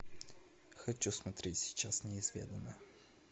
хочу смотреть сейчас неизведанное